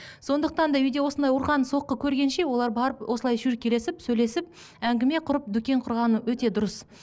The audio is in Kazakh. сондықтан да үйде осындай ұрған соққы көргенше олар барып осылай шүйіркелесіп сөйлесіп әңгіме құрып дүкен құрғаны өте дұрыс